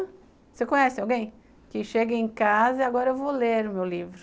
Você conhece alguém que chega em casa e agora eu vou ler o meu livro?